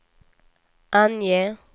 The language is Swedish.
ange